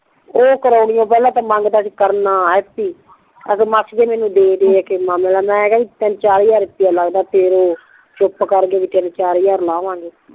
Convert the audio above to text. ਓ ਕਰੋਨੀ ਆ ਪਿਹਲਾਂ ਤੇ ਮੰਗਦਾ ਸੀ ਕਰਨ ਆਖੈ ਮਾਸੀ ਮੈਂਨੂੰ ਦੇ ਦੇ ਆਖੈ ਮਾਮੇ ਦਾ ਮੈਂ ਕਿਹਾ ਬੀ ਤਿਨ ਚਾਰ ਹਜ਼ਾਰ ਰੁੱਪਈਆ ਲੱਗਦਾ ਫੇਰ ਚੁੱਪ ਕਰਕੇ ਤਿਨ ਚਾਰ ਹਜ਼ਾਰ ਲਾਵਾਂਗੇ